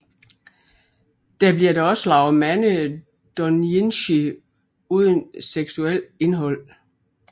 Der bliver dog også lavet mange doujinshi uden seksuelt indhold